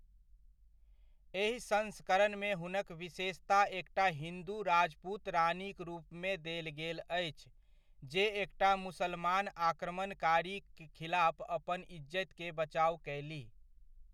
एहि संस्करणमे हुनक विशेषता एकटा हिन्दु राजपूत रानीक रूपमे देल गेल अछि, जे एकटा मुसलमान आक्रमणकारीक खिलाफ अपन इज्जति के बचाव कयलीह।